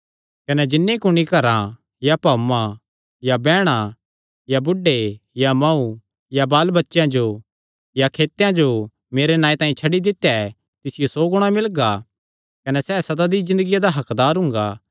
कने जिन्नी कुणी घरां या भाऊआं या बैहणा या बुढ़े या मांऊ या बाल बच्चेयां या खेतां जो मेरे नांऐ तांई छड्डी दित्या ऐ तिसियो सौ गुणा मिलगा कने सैह़ सदा दी ज़िन्दगिया दा हक्कदार हुंगा